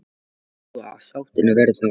Hver heldur þú að sáttin verði þar?